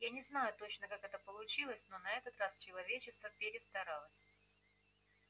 я не знаю точно как это получилось но на этот раз человечество перестаралось